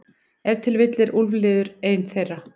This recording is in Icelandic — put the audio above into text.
Ef til vill er úlfliður ein þeirra.